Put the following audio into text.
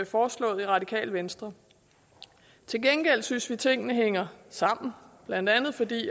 foreslået i radikale venstre til gengæld synes vi at tingene hænger sammen blandt andet fordi